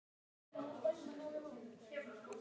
Heimir Már: Geymst ansi vel allan þennan tíma?